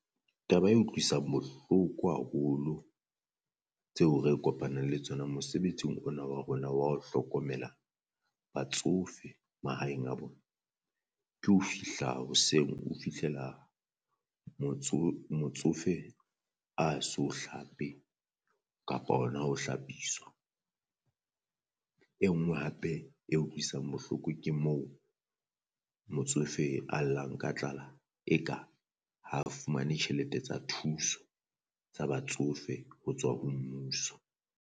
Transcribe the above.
Taba e utlwisang bohloko haholo tseo re kopanang le tsona mosebetsing ona wa rona wa ho hlokomela batsofe mahaeng a bona, ke ho fihla hoseng o fihlela motsofe a so hlape kapa hona ho hlapiswa. E nngwe hape e utlwisang bohloko ke mo motsofe a llang ka tlala eka ha fumane tjhelete tsa thuso tsa batsofe ho tswa ho mmuso.